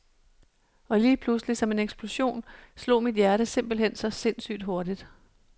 Og lige pludselig, som en eksplosion, slog mit hjerte simpelt hen så sindssygt hurtigt.